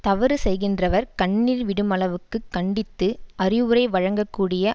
தவறு செய்கின்றவர் கண்ணீர் விடுமளவுக்குக் கண்டித்து அறிவுரை வழங்க கூடிய